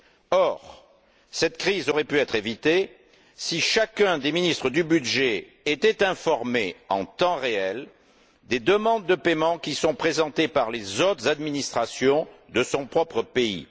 Or, cette crise aurait pu être évitée si chacun des ministres du budget était informé, en temps réel, des demandes de paiement qui sont présentées par les autres administrations de son propre pays.